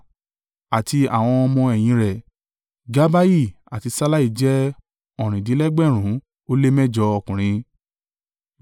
àti àwọn ọmọ-ẹ̀yìn rẹ̀, Gabbai àti Sallai jẹ́ ọ̀rìndínlẹ́gbẹ̀rún ó lé mẹ́jọ (928) ọkùnrin.